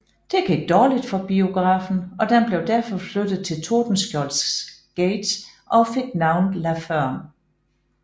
Det gik dårligt for biografen og den blev derfor flyttet til Tordenskjoldsgate og fik navnet La Ferme